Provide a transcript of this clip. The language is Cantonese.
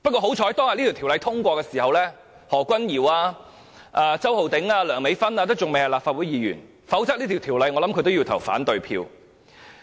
幸好當天通過該項條例時，何君堯議員、周浩鼎議員和梁美芬議員尚未當立法會議員，否則他們也會表決反對該條例。